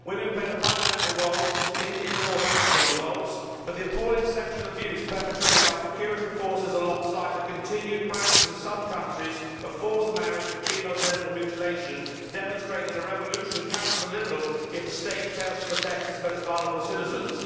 Women played a fundamental role in the North African revolts, but the appalling sexual abuse perpetrated by the security forces, and the continued practice in some countries of forced marriage and female genital mutilation, demonstrate that a revolution counts for little if the state fails to protect its most vulnerable citizens.